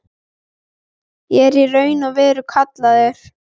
Ég er í raun og veru kallaður.